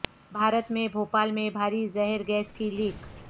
بھارت میں بھوپال میں بھاری زہر گیس کی لیک